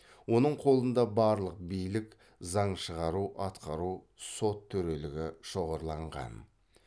оның қолында барлық билік шоғырланған